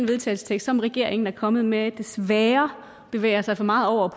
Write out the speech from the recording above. vedtagelse som regeringen er kommet med desværre bevæger sig for meget over